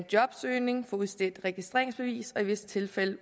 jobsøgning få udstedt registreringsbevis og i visse tilfælde